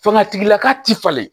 Fanga tigilaka tɛ falen